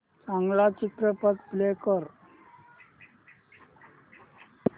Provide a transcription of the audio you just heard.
चांगला चित्रपट प्ले कर